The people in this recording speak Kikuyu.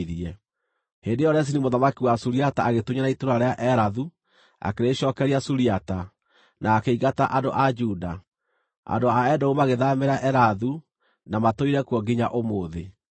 Hĩndĩ ĩyo Rezini mũthamaki wa Suriata agĩtunyana itũũra rĩa Elathu, akĩrĩcookeria Suriata, na akĩingata andũ a Juda. Andũ a Edomu magĩthaamĩra Elathu, na matũire kuo nginya ũmũthĩ.